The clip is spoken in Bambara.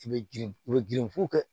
I bɛ girin u bɛ girin fo kɛ